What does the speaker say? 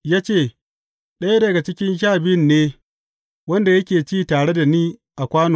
Ya ce, Ɗaya daga cikin Sha Biyun ne, wanda yake ci tare da ni a kwano.